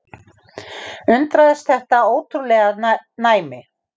Undraðist þetta ótrúlega næmi.